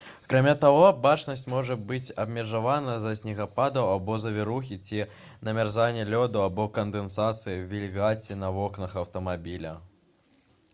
акрамя таго бачнасць можа быць абмежавана з-за снегападаў або завірухі ці намярзання лёду або кандэнсацыі вільгаці на вокнах аўтамабіля